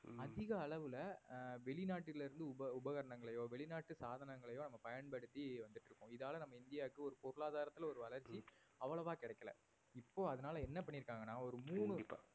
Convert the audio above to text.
அதிக அளவுல வெளிநாட்டிலிருந்து உப~ உபகரணங்களையோ வெளிநாட்டு சாதனங்களையோ நம்ம பயன்படுத்தி வந்துட்டிருக்கோம் இதால நம்ம இந்தியாவுக்கு ஒரு பொருளாதாரத்தில ஒரு வளர்ச்சி அவ்வளவா கிடைக்கல இப்போ அதனால என்ன பண்ணியிருக்காங்கனா ஒரு மூணு